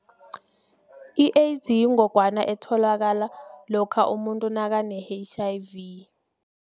I-AIDS yingogwana etholakala lokha umuntu nakane-H_I_V.